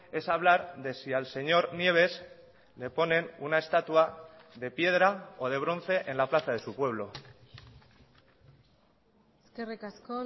es a hablar de si al señor nieves le ponen una estatua de piedra o de bronce en la plaza de su pueblo eskerrik asko